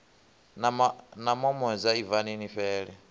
na mamoza ibvani ni fhele